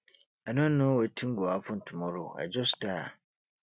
i no know wetin go happen tomorrow i just tire